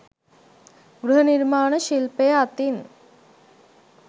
ගෘහ නිර්මාණ ශිල්පය අතින්